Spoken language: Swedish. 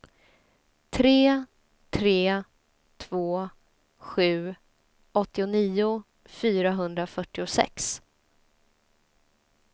tre tre två sju åttionio fyrahundrafyrtiosex